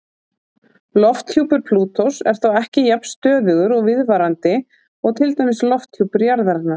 Lofthjúpur Plútós er þó ekki jafn stöðugur og viðvarandi og til dæmis lofthjúpur jarðarinnar.